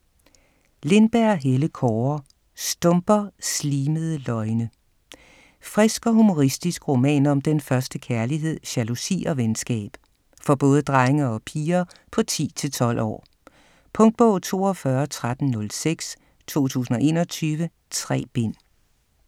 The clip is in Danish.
Lindberg, Helle Kaare: Stumper: slimede løgne Frisk og humoristisk roman om den første kærlighed, jalousi og venskab. For både drenge og piger på 10-12 år. Punktbog 421306 2021. 3 bind.